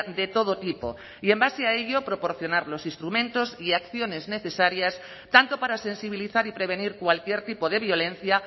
de todo tipo y en base a ello proporcionar los instrumentos y acciones necesarias tanto para sensibilizar y prevenir cualquier tipo de violencia